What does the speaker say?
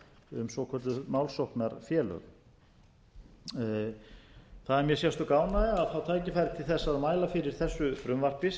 um svokölluð málsóknarfélög það er mér sérstök ánægja að fá tækifæri til þess að mæla fyrir þessu frumvarpi sem er